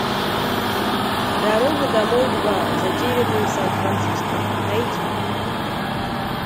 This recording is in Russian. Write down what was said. дорога домой два затерянные в сан франциско найди